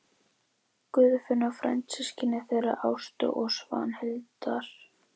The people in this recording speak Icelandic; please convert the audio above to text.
Guðfinna frændsystkin þeirra Ástu og Svanhildar.